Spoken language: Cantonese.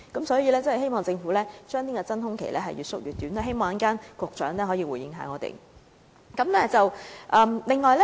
所以，希望政府將真空期盡量縮短，希望局長稍後能夠回應我們這問題。